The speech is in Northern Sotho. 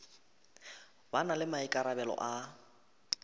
ba na le maikarabelo a